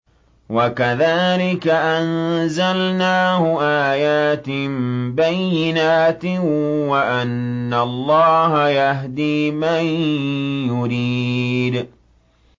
وَكَذَٰلِكَ أَنزَلْنَاهُ آيَاتٍ بَيِّنَاتٍ وَأَنَّ اللَّهَ يَهْدِي مَن يُرِيدُ